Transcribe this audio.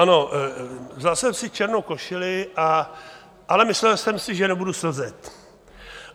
Ano, vzal jsem si černou košili, ale myslel jsem si, že nebudu slzet.